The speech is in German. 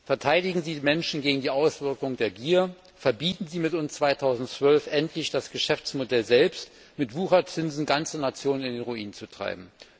Verteidigen Sie die Menschen gegen die Auswirkungen der Gier, verbieten Sie mit uns im Jahr 2012 endlich das Geschäftsmodell selbst, mit Wucherzinsen ganze Nationen in den Ruin zu treiben!